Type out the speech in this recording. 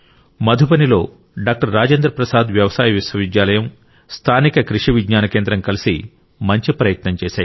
మధుబనిలోని doctor Rajendra Prasad వ్యవసాయ విశ్వవిద్యాలయం స్థానిక కృషి విజ్ఞాన కేంద్రం కలిసి మంచి ప్రయత్నం చేశాయి